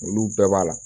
Olu bɛɛ b'a la